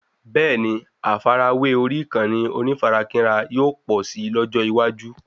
Bẹ́ẹ̀ni, àfàrawé orí ìkànnì onífarakínra yóò pọ̀ si lójó iwaju